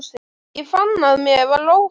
Ég fann að mér var óhætt.